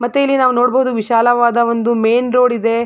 ಮತ್ತೆ ಇಲ್ಲಿ ನಾವು ನೋಡಬಹುದು ವಿಶಾಲವಾದ ಒಂದು ಮೇನ್ ರೋಡ್ ಇದೆ.